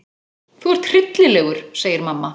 Þú ert hryllilegur, segir mamma.